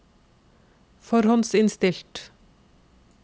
forhåndsinnstilt